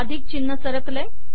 अधिक चिन्ह सरकले